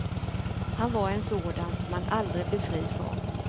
Han var en sådan man aldrig blir fri från.